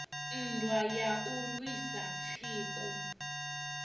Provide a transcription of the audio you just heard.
nndwa ya u lwisa tsiku